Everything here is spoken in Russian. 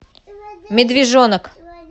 медвежонок